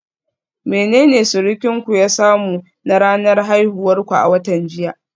Menene surukinku ya samu na ranar haihuwar ku a watan jiya?